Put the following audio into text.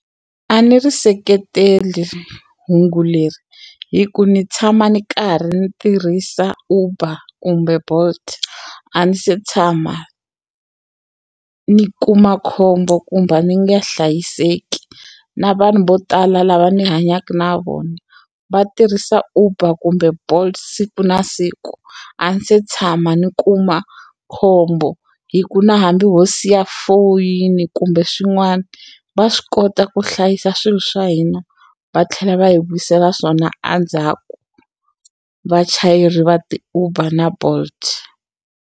A ni ri seketeli hungu leri hi ku ni tshama ni karhi ndzi tirhisa Uber kumbe Bolt a ni se tshama ni kuma khombo kumbe a ni nga hlayiseki na vanhu vo tala lava ni hanyaka na vona va tirhisa Uber kumbe Bolt siku na siku a ni se tshama ni kuma khombo hi ku na hambi ho siya foyini kumbe swin'wana va swi kota ku hlayisa swilo swa hina va tlhela va hi vuyisela swona endzhaku vachayeri va ti-Uber na Bolt.